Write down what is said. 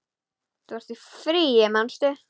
Þú ert í fríi, manstu?